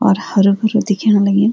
और हरु-भरू दिख्येणा लग्यूं।